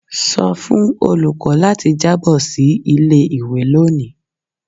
Sọ fun olukọ lati jabo si ile-iwe loni!